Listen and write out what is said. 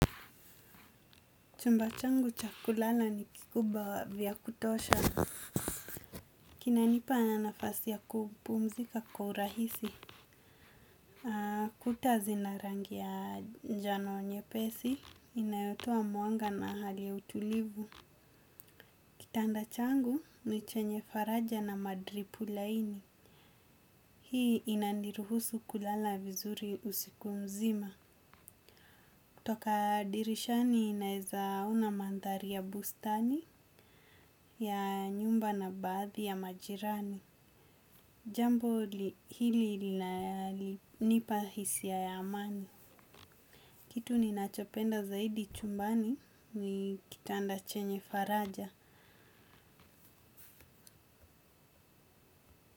Chumba changu cha kulala ni kikubwa vya kutosha. Kina nipa nafasi ya kupumzika kwa urahisi. Kuta zina rangi ya njano nyepesi, inayotoa mwanga na hali ya utulivu. Kitanda changu, ni chenye faraja na madripu laini. Hii inaniruhusu kulala vizuri usiku mzima. Toka dirishani naeza ona mandhari ya bustani ya nyumba na baadhi ya majirani. Jambo hili linanipa hisia ya amani. Kitu ni ninachopenda zaidi chumbani ni kitanda chenye faraja.